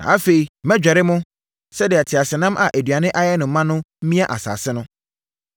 “Na afei, mɛdwerɛ mo sɛdeɛ teaseɛnam a aduane ayɛ no ma mia asase no.